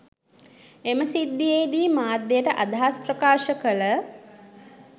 එම සිද්ධියේදී මාධ්‍යයට අදහස් ප්‍රකාශ කළ